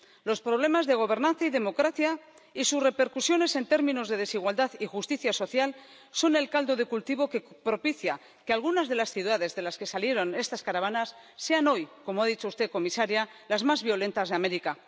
Los problemas de gobernanza y democracia y sus repercusiones en términos de desigualdad y justicia social son el caldo de cultivo que propicia que algunas de las ciudades de las que salieron estas caravanas sean hoy, como ha dicho usted, comisaria, las más violentas de América.